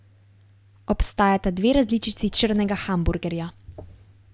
Obstajata dve različici črnega hamburgerja.